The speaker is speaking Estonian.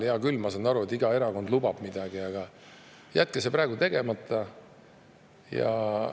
Hea küll, ma saan aru, et iga erakond lubab midagi, aga jätke see praegu tegemata!